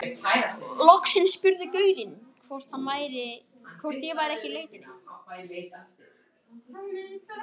Loksins spurði gaurinn hvort ég væri ekki í leitinni.